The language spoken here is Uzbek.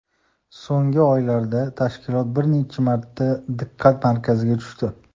So‘nggi oylarda tashkilot bir necha marta diqqat markaziga tushdi.